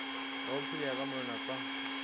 nga aphila kha mawanwa kana